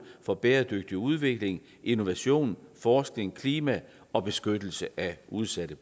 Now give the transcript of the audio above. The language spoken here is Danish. for bæredygtig udvikling innovation forskning klima og beskyttelse af udsatte